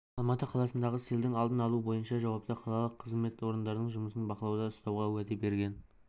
алматы қаласындағы селдің алдын алу бойынша жауапты қалалық қызмет орындарының жұмысын бақылауда ұстауға уәде берген